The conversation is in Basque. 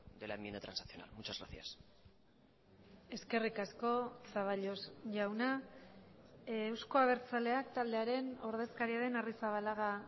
de la enmienda transaccional muchas gracias eskerrik asko zaballos jauna euzko abertzaleak taldearen ordezkaria den arrizabalaga